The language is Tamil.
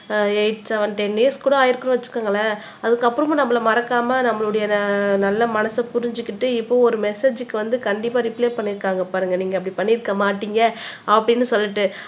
எய்ட் செவென் டென் டேஸ் கூட ஆயிருக்கும்னு வச்சுக்கோங்களேன் அதுக்கப்புறமும் நம்மல மறக்காம நம்மளுடைய நல்ல மனச புரிஞ்சுகிட்டு இப்போ ஒரு மெசேஜ்க்கு வந்து கண்டிப்பா ரிப்ளை பண்ணி இருக்காங்க பாருங்க நீங்க அப்படி பண்ணி இருக்க மாட்டீங்க அப்படின்னு சொல்லிட்டு